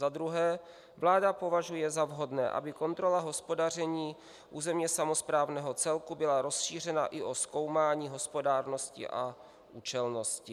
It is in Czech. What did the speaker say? Za druhé, vláda považuje za vhodné, aby kontrola hospodaření územně samosprávného celku byla rozšířena i o zkoumání hospodárnosti a účelnosti.